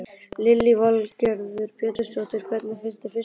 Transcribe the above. Lillý Valgerður Pétursdóttir: Hvernig finnst þér fiskurinn?